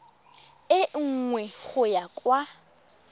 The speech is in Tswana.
e nngwe go ya kwa